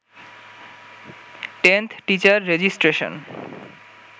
10th teacher registration